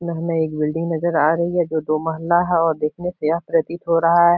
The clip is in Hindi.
हमें एक बिल्डिंग नज़र आ रही है जो दो महल्ला है और देखने से यह प्रतीत हो रहा हैं।